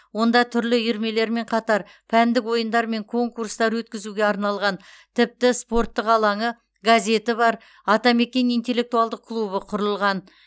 онда түрлі үйірмелермен қатар пәндік ойындар мен конкурстар өткізуге арналған тіпті спорттық алаңы газеті бар атамекен интеллектуалдық клубы құрылған